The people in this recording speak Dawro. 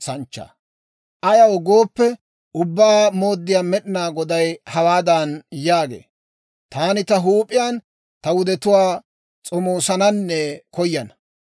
« ‹Ayaw gooppe, Ubbaa Mooddiyaa Med'inaa Goday hawaadan yaagee; «Taani ta huup'iyaan ta wudetuwaa s'omoosananne koyana.